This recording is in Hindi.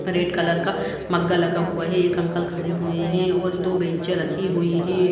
रेड कलर का मग्गा लगा हुआ है एक अंकल खड़े हुए हैं और दो बैंच रखी हुई हैं।